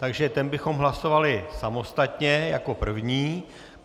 Takže ten bychom hlasovali samostatně jako první.